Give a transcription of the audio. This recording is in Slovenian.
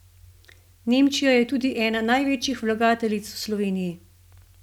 Nemčija je tudi ena največjih vlagateljic v Sloveniji.